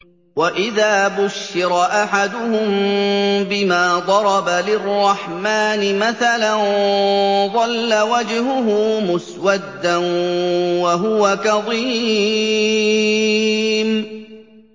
وَإِذَا بُشِّرَ أَحَدُهُم بِمَا ضَرَبَ لِلرَّحْمَٰنِ مَثَلًا ظَلَّ وَجْهُهُ مُسْوَدًّا وَهُوَ كَظِيمٌ